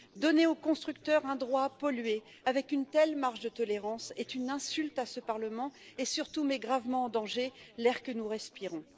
Donner aux constructeurs un droit à polluer avec une telle marge de tolérance est une insulte à ce Parlement et, surtout, met gravement en danger l'air que nous respirons.